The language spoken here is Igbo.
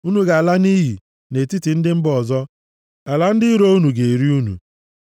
Unu ga-ala nʼiyi nʼetiti ndị mba ọzọ, ala ndị iro unu ga-eri unu.